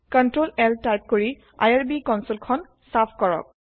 Ctrl L type কৰি IRB console খন চাফ কৰক